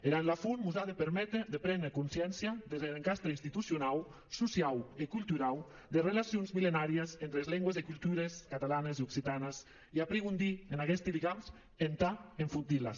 er an lafont mos a de perméter de préner consciéncia des der encastre institucionau sociau e culturau des relacions millenàries entre es lengües e cultures catalanes e occitanes e aprigondir en aguesti ligams entà enfortir les